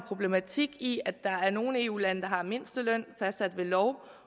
problematik i at der er nogle eu lande der har mindsteløn fastsat ved lov